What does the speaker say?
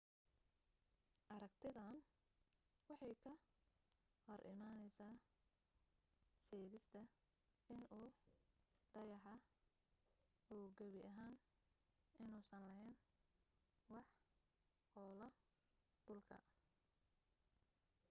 aragtidan waxay ka hor imanaysaasheegista in uu dayaxa uu gebi ahaan inuusan laheyn wax hoolo dhulka